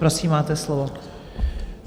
Prosím, máte slovo.